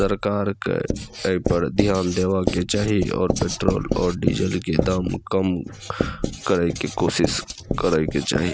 सरकार के ये पर ध्यान देबा के चाही और पेट्रोल और डीजल के दाम कम करे के कोशिश करे के चाही।